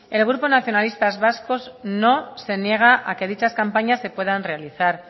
el grupo nacionalistas vascos no se niega a que dichas campañas se puedan realizar